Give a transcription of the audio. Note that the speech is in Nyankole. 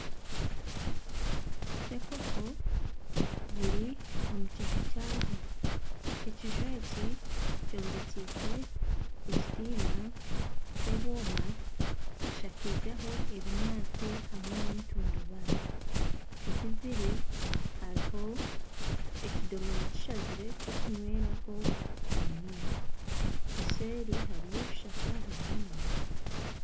Nserinkoko ziri omu kiju kyazo, ekiju eki kyombekise ekitimba ky'ebwoma hashakizeho ebinyaatsi hamwe neetundubare ahu ziri hariho ekidoomora kishazire eky'okunyweraho amaizi eseeri hariyo ebishaka hamwe n'emiti.